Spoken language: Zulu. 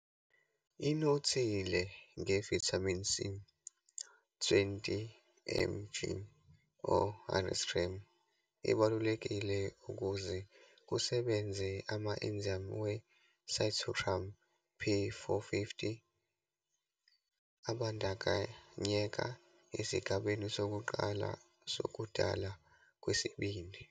Inothile nge-Vitamin C, 20 mg or 100 g, ebalulekile ukuze kusebenze ama-enzymes we-cytochrome P450 abandakanyeka esigabeni sokuqala sokudalwa kwesibindi.